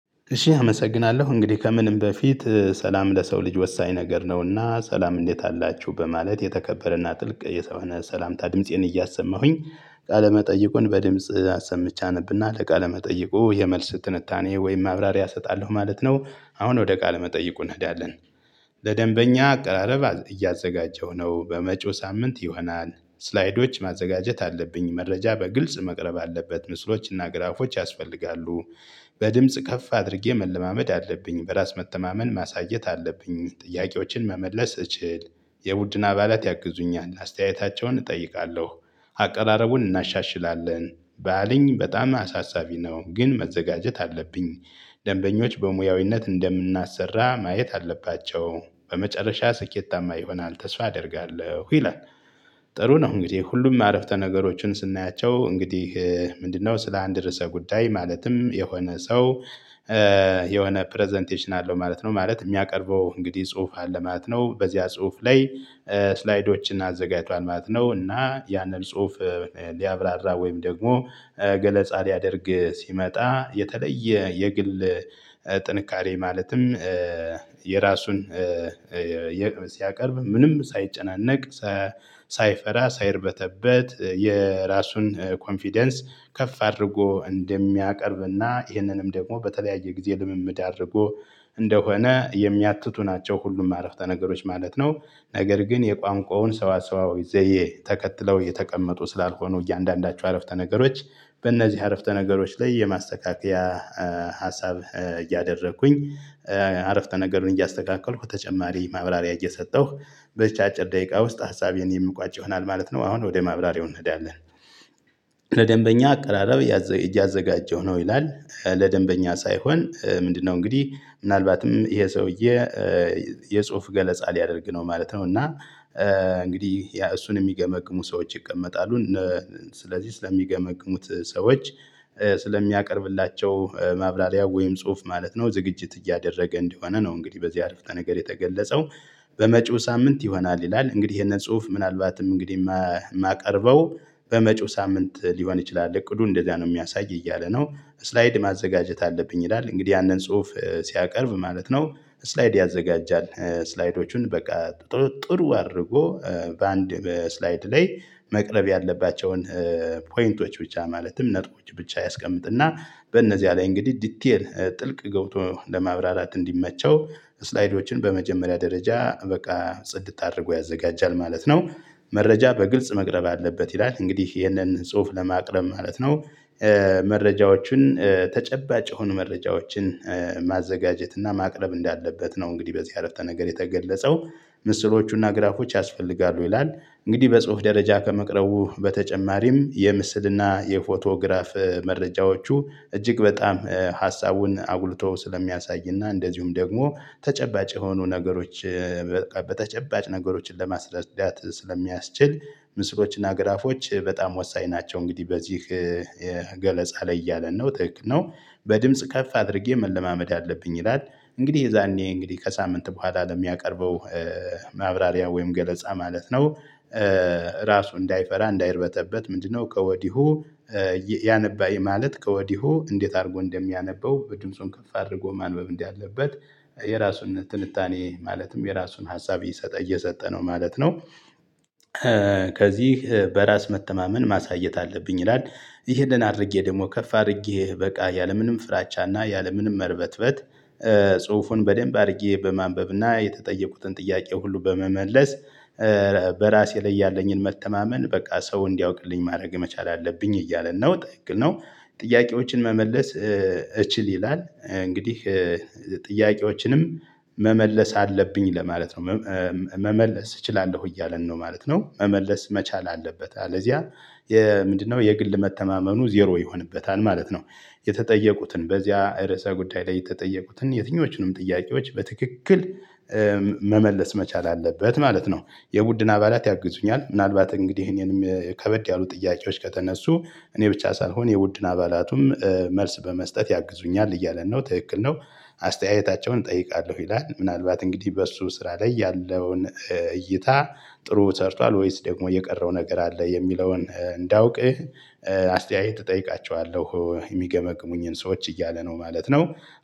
እሺ አመሰግናለሁ እንግዲህ ከምንም በፊት ሰላም ለሰው ልጅ ወሳኝ ነገር ነውና ሰላም እንዴት አላችሁ በማለት የተከበረና ጥልቅ የሰው ሰላምታ ድምፄን እያሰማሁኝ ቃለ መጠይቁን በድምጽ አሰምቼ አነብና ለቃለ መጠይቁ የመልስ ትንታኔ ወይም ማብራሪያ እሰጣለሁ ማለት ነው። አሁን ወደ ቃለ መጠይቁ እንሄዳለን። ለደንበኛ አቀራረብ እያዘጋጀሁ ነው በመጪው ሳምንት ይሆናል ስላይዶች ማዘጋጀት አለብኝ መረጃ በግልጽ መቅረብ አለበት ምስሎችና ግራፎች ያስፈልጋሉ። በድምጽ ከፍ አድርጌ መለማመድ አለብኝ በራስ መተማመን ማሳየት አለብኝ ጥያቄዎችን መመለስ እችል። የቡድን አባላት ያግዙኛል አስተያየታቸውን እጠይቃለሁ። አቀራረቡን እናሻሽላለን። ባልኝ በጣም አሳሳቢ ነው ግን መዘጋጀት አለብኝ። ደንበኞች በሙያዊነት እንደምናሰራ ማየት አለባቸው በመጨረሻ ስኬታማ ይሆናል ተስፋ አደርጋለሁ ይላል። ጥሩ ነው። እንግዲህ ሁሉም አረፍተ ነገሮችን ስናያቸው እንግዲህ ምንድነው ስለ አንድ ርዕሰ ጉዳይ ማለትም የሆነ ሰው የሆነ ፕረዘንቴሽን አለው ማለት ነው። ማለት ሚያቀርበው እንግዲህ ጽሁፍ አለ ማለት ነው። በዚያ ጽሁፍ ላይ ስላይዶችን አዘጋጇል ማለት ነው። እና ያንን ጽሁፍ ሊያብራራ ወይም ደግሞ ገለጻ ሊያደርግ ሲመጣ የተለየ የግል ጥንካሬ ማለትም የራሱን ሲያቀርብ ምንም ሳይጨናነቅ ሳይፈራ ሳይርበተበት የራሱን ኮንፊደንስ ከፍ አድርጎ እንደሚያቀርብና ይህንንም ደግሞ በተለያየ ጊዜ ልምምድ አድርጎ እንደሆነ የሚያትቱ ናቸው። ሁሉም አረፍተ ነገሮች ማለት ነው። ነገር ግን የቋንቋውን ሰዋሰዋዊ ዘዬ ተከትለው እየተቀመጡ ስላልሆኑ እያንዳንዳቸው አረፍተ ነገሮች በእነዚህ አረፍተ ነገሮች ላይ የማስተካከያ ሀሳብ እያደረኩኝ አረፍተ ነገሩን እያስተካከልኩ ተጨማሪ ማብራሪያ እየሰጠሁ በዝች አጭር ደቂቃ ውስጥ ሀሳቤን የምቋጭ ይሆናል። ማለት ነው። አሁን ወደ ማብራሪያው እንሄዳለን። ለደንበኛ አቀራረብ እያዘጋጀው ነው ይላል። ለደንበኛ ሳይሆን ምንድነው? እንግዲህ ምናልባትም ይሄ ሰውዬ የጽሁፍ ገለጻ ሊያደርግ ነው ማለት ነው። እና እንግዲህ ያ እሱን እሚገመግሙ ሰዎች ይቀመጣሉ። ስለዚህ ስለሚገመግሙት ሰዎች ስለሚያቀርብላቸው ማብራሪያ ወይም ጽሁፍ ማለት ነው ዝግጅት እያደረገ እንደሆነ ነው። እንግዲህ በዚህ አረፍተ ነገር የተገለጸው። በመጪው ሳምንት ይሆናል ይላል። እንግዲህ ይሄንን ጽሁፍ ምናልባትም እንግዲህ እማቀርበው በመጪው ሳምንት ሊሆን ይችላል። እቅዱ እንደዛ ነው ሚያሳይ እያለ ነው። ስላይድ ማዘጋጀት አለብኝ ይላል። እንግዲህ ያንን ጽሁፍ ሲያቀርብ ማለት ነው። ስላይድ ያዘጋጃል። ስላይዶቹን በቃ ጥሩ አድርጎ በአንድ በስላይድ ላይ መቅረብ ያለባቸውን ፖይንቶች ብቻ ማለትም ነጥቦች ብቻ ያስቀምጥና በእነዚህ ላይ እንግዲህ ዲቴል ጥልቅ ገብቶ ለማብራራት እንዲመቸው ስላይዶችን በመጀመሪያ ደረጃ በቃ ጽድት አድርጎ ያዘጋጃል ማለት ነው። መረጃ በግልጽ መቅረብ አለበት ይላል እንግዲህ ይህንን ጽሁፍ ለማቅረብ ማለት ነው። መረጃዎቹን ተጨባጭ የሆኑ መረጃዎችን ማዘጋጀት እና ማቅረብ እንዳለበት ነው። እንግዲህ በዚህ አረፍተ ነገር የተገለጸው። ምስሎቹና ግራፎች ያስፈልጋሉ ይላል። እንግዲህ በጽሁፍ ደረጃ ከመቅረቡ በተጨማሪም የምስልና የፎቶግራፍ መረጃዎቹ እጅግ በጣም ሀሳቡን አጉልቶ ስለሚያሳይና እንደዚሁም ደግሞ ተጨባጭ የሆኑ ነገሮች በተጨባጭ ነገሮችን ለማስረዳት ስለሚያስችል ምስሎችና ግራፎች በጣም ወሳኝ ናቸው። እንግዲህ በዚህ ገለጻ ላይ እያለ ነው ትክክል ነው። በድምጽ ከፍ አድርጌ መለማመድ አለብኝ ይላል። እንግዲህ የዛኔ እንግዲህ ከሳምንት በኋላ ለሚያቀርበው ማብራሪያ ወይም ገለጻ ማለት ነው። ራሱ እንዳይፈራ እንዳይርበረበት ምንድነው? ከወዲሁ ያነባይ ማለት ከወዲሁ እንዴት አድርጎ እንደሚያነበው በድምፁን ከፍ አድርጎ ማንበብ እንደ አለበት። የራሱን ትንታኔ ማለትም የራሱን ሀሳብ ይሰጠ እየሰጠነው ማለት ነው። ከዚህ በራስ መተማመን ማሳየት አለብኝ ይላል። ይህንን አድርጌ ደግሞ ከፍ አድርጌ በቃ ያለምንም ፍራቻ እና ያለምንም መርበትበት ጽሁፉን በደንብ አድርጌ በማንበብ እና የተጠየቁትን ጥያቄ ሁሉ በመመለስ በራሴ ላይ ያለኝን መተማመን በቃ ሰው እንዲያውቅልኝ ማድረግ መቻል አለብኝ እያለ ነው ትክል ነው። ጥያቄዎችን መመለስ እችል ይላል። እንግዲህ ጥያቄዎችንም መመለስ አለብኝ ለማለት ነው። መመለስ እችላለሁ እያለን ነው ማለት ነው። መመለስ መቻል አለበት። አለዚያ የምንድነው የግል መተማመኑ ዜሮ ይሆንበታል ማለት ነው። የተጠየቁትን በዚያ ርዕሰ ጉዳይ ላይ የተጠየቁትን የትኞቹንም ጥያቄዎች በትክክል መመለስ መቻል አለበት ማለት ነው። የቡድን አባላት ያግዙኛል ምናልባት እንግዲህ እኔንም ከበድ ያሉ ጥያቄዎች ከተነሱ እኔ ብቻ ሳልሆን የቡድን አባላቱም መልስ በመስጠት ያግዙኛል እያለ ነው ትክክል ነው። አስተያየታቸውን እጠይቃለሁ ይላል ምናልባት እንግዲህ በሱ ስራ ላይ ያለውን እይታ ጥሩ ሰርቷል ወይስ ደግሞ የቀረው ነገር አለ የሚለውን እንዳውቅህ አስተያየት እጠይቃቸዋለሁ ሚገመግሙኝ ሰዎች እያለ ነው ማለት ነው።